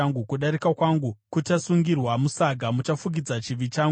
Kudarika kwangu kuchasungirwa musaga; muchafukidzira chivi changu.